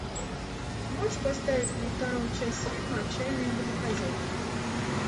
можешь поставить мне вторую часть фильма отчаянные домохозяйки